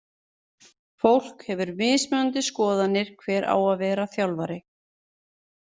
Fólk hefur mismunandi skoðanir hver á að vera þjálfari.